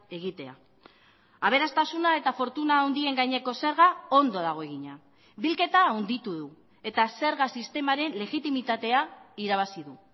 egitea aberastasuna eta fortuna handien gaineko zerga ondo dago egina bilketa handitu du eta zerga sistemaren legitimitatea irabazi du